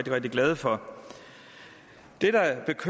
rigtig glade for det